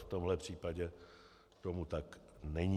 V tomto případě tomu tak není.